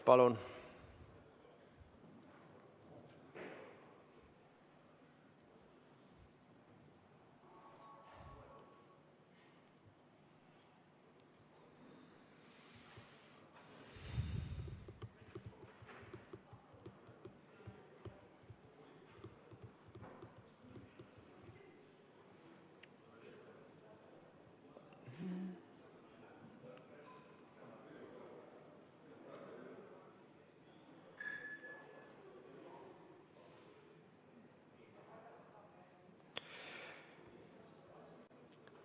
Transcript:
Palun!